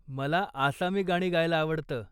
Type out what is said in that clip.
मला आसामी गाणी गायला आवडतं.